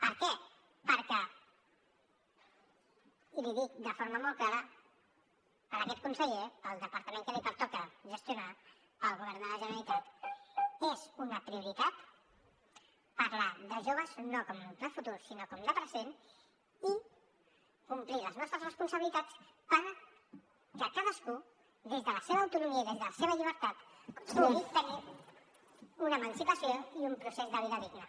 per què perquè i l’hi dic de forma molt clara per aquest conseller pel departament que li pertoca gestionar pel govern de la generalitat és una prioritat parlar de joves no com de futur sinó de present i complir les nostres responsabilitats perquè cadascú des de la seva autonomia i des de la seva llibertat pugui tenir una emancipació i un procés de vida digna